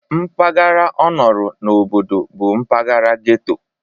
Mpaghara ọ nọrọ n'obodo bụ mpaghara ghetto